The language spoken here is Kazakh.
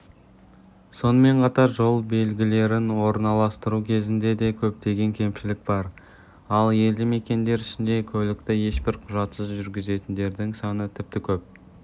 сонымен қатар жол белгілерін орналастыру кезінде де көптеген кемшілік бар ал елді мекендер ішінде көлікті ешбір құжатсыз жүргізетіндердің саны тіпті көп